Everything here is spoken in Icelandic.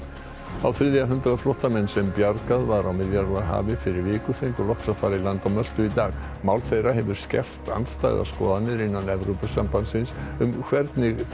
á þriðja hundrað flóttamenn sem bjargað var á Miðjarðarhafi fyrir viku fá fengu loks að fara í land á Möltu í dag mál þeirra hefur skerpt andstæðar skoðanir innan Evrópusambandsins um hvernig taka